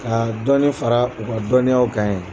Ka dɔɔnin fara u ka dɔɔninyaw ka ye